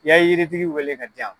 I y'a yirtigi wele ka diyan.